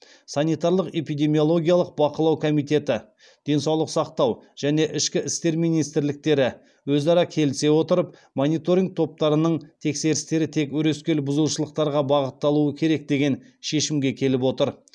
санитарлық эпидемиологиялық бақылау комитеті денсаулық сақтау және ішкі істер министрліктері өзара келісе отырып мониторинг топтарының тексерістері тек өрескел бұзушылықтарға бағытталуы керек деген шешімге келіп отыр